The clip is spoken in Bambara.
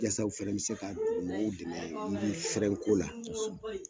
Yasa u fɛnɛ be se ka dugumɔgɔw dɛmɛ yiri fɛrɛn ko la.